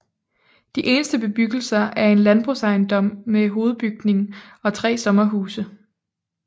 De eneste bebyggelser er en landbrugsejendom med hovedbygning og 3 sommerhuse